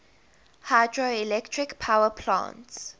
hydroelectric power plants